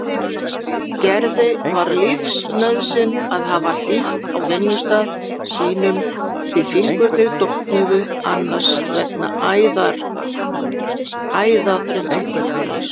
Gerði var lífsnauðsyn að hafa hlýtt á vinnustað sínum því fingurnir dofnuðu annars vegna æðaþrengslanna.